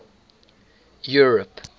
europe